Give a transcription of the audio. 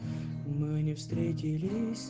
мы не встретились